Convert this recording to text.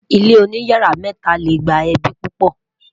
ilé oní yàrá mẹta lẹ gbà ẹbi pupo